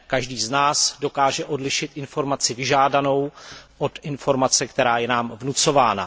Každý z nás dokáže odlišit informaci vyžádanou od informace, která je nám vnucována.